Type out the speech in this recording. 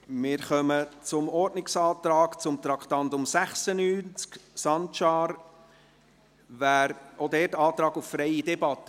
Wir kommen zum Ordnungsantrag Sancar zu Traktandum 96, ebenfalls auf freie Debatte.